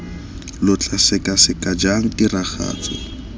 lo tla sekaseka jang tiragatso